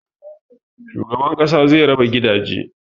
Shugaban ƙasa zai raba gidaje